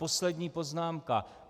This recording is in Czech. Poslední poznámka.